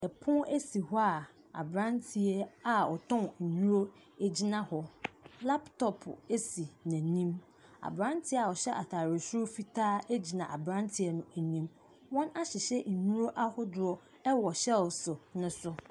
Ɛpono esi hɔ a abranteɛ a ɔtɔn nnuro ɛgyina hɔ laptop esi n'anim Abranteɛ a ɔhyɛ ataadeɛ soro fitaa ɛgyina abranteɛ no anim wɔn ahyehyɛ nnuro ahodoɔ ɛwɔ shelves no so.